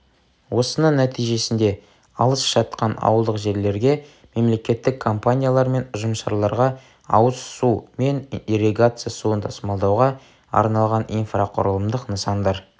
осының нәтижесінде алыс жатқан ауылдық жерлерге мемлекеттік компаниялар мен ұжымшарларға ауыз су мен ирригация суын тасымалдауға арналған инфрақұрылымдық нысандар